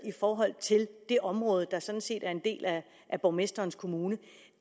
i forhold til det område der sådan set er en del af borgmesterens kommune